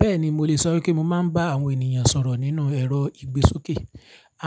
Bẹ́ẹ̀ni mo lè sọ wípé mo máa ń bá àwọn ènìyàn sọ̀rọ̀ nínú ẹ̀rọ ìgbésókè.